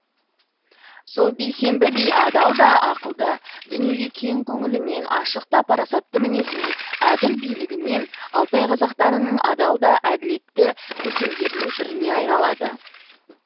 сол бейсенбі би адал да ақылды дүниеге кең көңілімен ашық та парасатты мінезімен әділ билігімен алтай қазақтарының адал да әділетті көсемдерінің біріне айналады